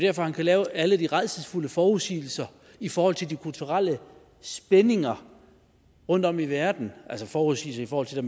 at han kan lave alle de rædselsfulde forudsigelser i forhold til de kulturelle spændinger rundtom i verden altså forudsigelser i forhold til